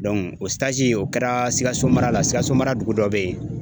o o kɛra Sikaso mara la, Sikaso mara dugu dɔ be ye